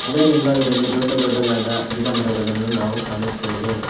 ಅದರ ಹಿಂಭಾಗದಲ್ಲಿ ದೊಡ್ಡ ದೊಡ್ಡದಾದ ಗಿರಮರಗಳನ್ನು ನಾವು ಕಾಣುತ್ತೇವೆ.